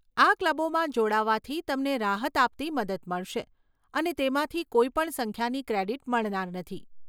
આ ક્લબોમાં જોડાવાથી તમને રાહત આપતી મદદ મળશે, અને તેમાંથી કોઈ પણ સંખ્યાની ક્રેડીટ મળનાર નથી.